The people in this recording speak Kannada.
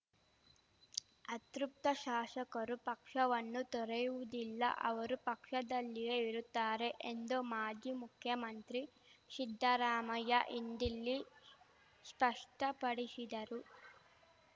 ಅತೃಪ್ತ ಶಾಶಕರು ಪಕ್ಷವನ್ನು ತೊರೆಯುವುದಿಲ್ಲ ಅವರು ಪಕ್ಷದಲ್ಲಿಯೇ ಇರುತ್ತಾರೆ ಎಂದು ಮಾಜಿ ಮುಖ್ಯಮಂತ್ರಿ ಶಿದ್ಧರಾಮಯ್ಯ ಇಂದಿಲ್ಲಿ ಷ್ಪಷ್ಟಪಡಿಶಿದರು